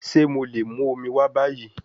Ṣe mo le mu omi wa bayi?